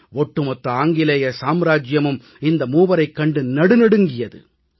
ஒட்டுமொத்த ஆங்கிலேய சாம்ராஜ்யமும் இந்த மூவரைக் கண்டு நடுநடுங்கியது